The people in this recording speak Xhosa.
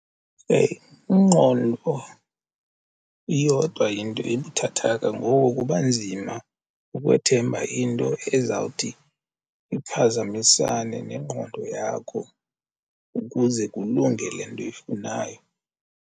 Ingqondo iyodwa yinto ebuthathaka ngoku kuba nzima ukwethemba into ezawuthi iphazamisane nengqondo yakho ukuze kulunge le nto uyifunayo.